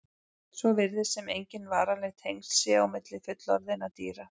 Svo virðist sem engin varanleg tengsl séu á milli fullorðinna dýra.